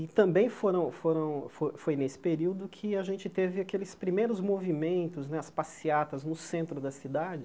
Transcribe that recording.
E também foram foram fo foi nesse período que a gente teve aqueles primeiros movimentos né, as passeatas no centro da cidade.